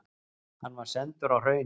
Hann var sendur á Hraunið.